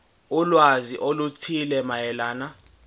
ulwazi oluthile mayelana